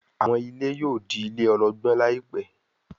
àwọn ilé yóò dì ilé ologbon láìpé